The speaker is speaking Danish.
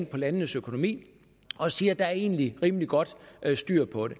på landenes økonomi og siger at der egentlig er rimelig godt styr på det